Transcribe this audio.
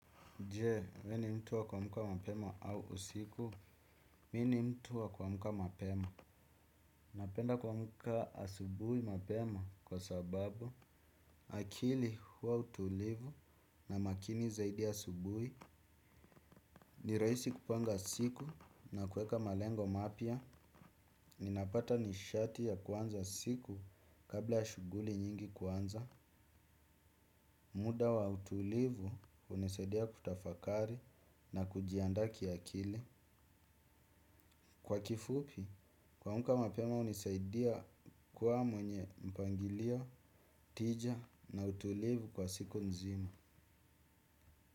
Je, wewe ni mtu wa kuamka mapema au usiku. Mimi ni mtu wa kuamka mapema. Napenda kuamka asubuhi mapema kwa sababu akili huwa utulivu na makini zaidi asubuhi. Ni rahisi kupanga siku na kuweka malengo mapya. Ninapata nishati ya kuanza siku kabla ya shughuli nyingi kuanza. Muda wa utulivu unasadia kutafakari na kujiandaa kiakili. Kwa kifupi, kuamka mapema hunisaidia kuwa mwenye mpangilio, tija na utulivu kwa siku nzima.